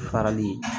Farali